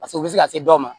Paseke u bɛ se ka se dɔw ma